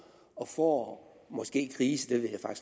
og får måske ikke grise det ved jeg